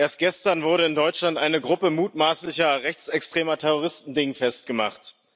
Erst gestern wurde in Deutschland eine Gruppe mutmaßlicher rechtsextremer Terroristen dingfest gemacht.